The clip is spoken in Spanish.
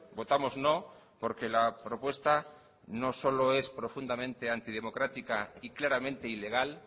votamos no porque la propuesta no solo es profundamente antidemocrática y claramente ilegal